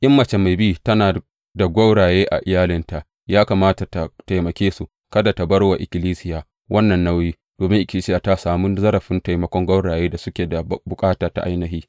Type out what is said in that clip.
In mace mai bi tana da gwauraye a iyalinta, ya kamata tă taimake su, kada tă bar wa ikkilisiya wannan nauyi, domin ikkilisiya ta sami zarafin taimakon gwaurayen da suke da bukata ta ainihi.